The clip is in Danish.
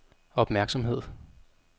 opmærksomhed